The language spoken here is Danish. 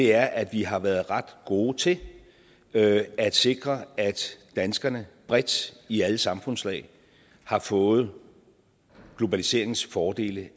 er at vi har været ret gode til at at sikre at danskerne bredt i alle samfundslag har fået globaliseringens fordele